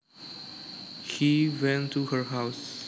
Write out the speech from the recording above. He went to her house